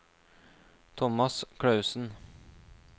Tomas Klausen